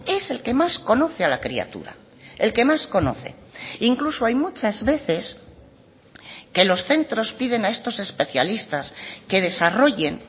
es el que más conoce a la criatura el que más conoce incluso hay muchas veces que los centros piden a estos especialistas que desarrollen